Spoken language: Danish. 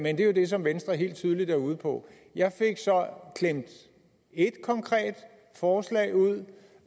er jo det som venstre helt tydeligt er ude på jeg fik så klemt et konkret forslag ud